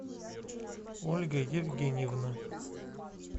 ольга евгеньевна